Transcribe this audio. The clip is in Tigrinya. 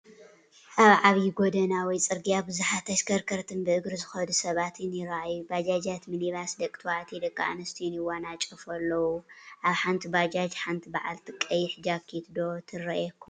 ኣብ ዓብይ ጎደና ወይ ፅርግያ ብዙሓት ተሽከርከርትን ብእግሪ ዝኸዱ ሰባትን ይራኣዩ፡፡ ባጃጃት፣ ሚኒባስ፣ ደቂ ተባዕትዮን ደቂ ኣንስትዮን ይዋናጨፉ ኣለው፡፡ ኣብ ሓንቲ ባጃጅ ሓንቲ በዓልቲ ቀይሕ ጃኬት ዶ ትረአየኩም ኣላ?